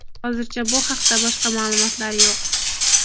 Hozircha bu haqda boshqa ma’lumotlar yo‘q.